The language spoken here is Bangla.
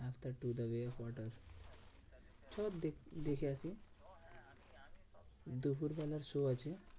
After two the way of water চো দেখ~ দেখে আসি। দুপুরবেলার show আছে।